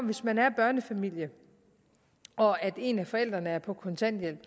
hvis man er en børnefamilie og en af forældrene er på kontanthjælp